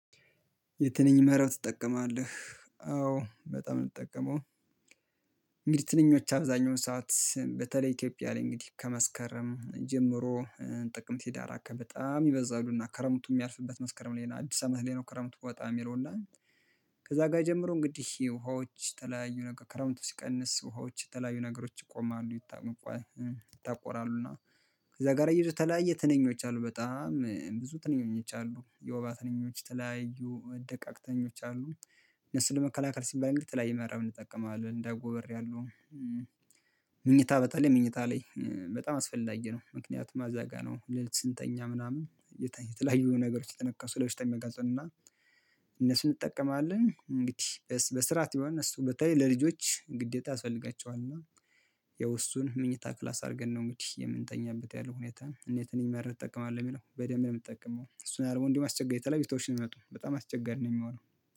የትንኝ መረብ ትጠቀማለህ? አዎ በጣም ነው የምትጠቀመው። እንግዲህ ትንኞች አብዛኛው ሰዓት በተለይ ኢትዮጵያ ላይ እንግዲህ ከመስከረም ጀምሮ ጥቅም ሂዳር አካባቢ በጣም ይበዛሉና ከረምቱ የሚያልፍበት መስከረም ላይ አዲስ አመት ላይ ነው ከረምቱ ወጣም የሚለው እና ከዛ ጋር ጀምሮ እንግዲህ ውሃዎች የተለያዩ ነገር ከረምቱ ሲቀንስ ውሃዎች የተለያዩ ነገሮች ይቆማሉ ይታወቃሉ ይጠቆራሉና። ከዛ ጋር የተለያየ ትንኞች አሉ በጣም ብዙ ትንኞች አሉ የውባ ተነኞች ተለያዩ ደቃቅተኞች አሉ። ነፍስን ለመከላከል ሲባል እንግዲህ የተለያዩ መረብን እጠቀማለን እንደ አጎበር ያሉ። በተለይ መኝታ ላይ በጣም አስፈላጊ ነው። ምክንያቱም እዛ ጋር ነው ስንተኛ ምናምን። የተለያዩ ነገሮች እየተነከሱ ለበሽታ የሚያጋልጠንና። እነሱን እንጠቀማለን እንግዲህ በስርዓት ይሆን እሱ በተለይ ለልጆች ግዴታ ያስፈልጋቸዋል እና። ያው እሱን ምኞታ ክላስ አድርገን ነው እንግዲህ የምንተኛበት ያለው ሁኔታ እና የትንኝ መረብ ትጠቀማለህ ለሚለው በደንብ ነው። የምጠቀመው እሱን አርቦ እንዲህ ማስቸገር የተለያዩ ሽቶ ነው የሚመጡ በጣም አስቸጋሪ ነው የሚሆነው